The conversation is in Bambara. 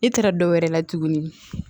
E taara dɔwɛrɛ la tuguni